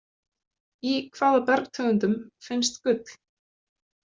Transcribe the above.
Í hvaða bergtegundum finnst gull?